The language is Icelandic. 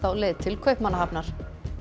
á leið til Kaupmannahafnar